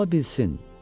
Ola bilsin.